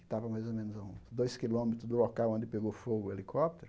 Estava mais ou menos a dois quilômetros do local onde pegou fogo o helicóptero.